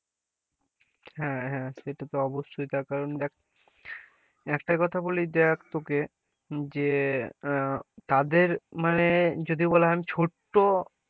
হ্যাঁ হ্যাঁ সেটা তো অবশ্যই তার কারণ দেখ একটা কথা বলি দেখ তোকে যে আহ তাদের মানে যদি বলা হয় ছোট্ট,